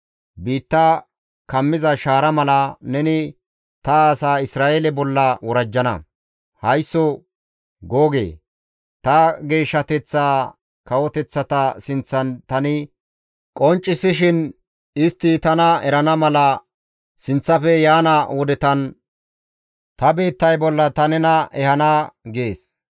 Biitta kammiza shaara mala, neni ta asa Isra7eele bolla worajjana. Haysso Googe ta geeshshateththaa kawoteththata sinththan tani qonccisishin istti tana erana mala sinththafe yaana wodetan ta biittay bolla ta nena ehana› gees.